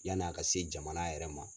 Yann'a ka se jamana yɛrɛ ma.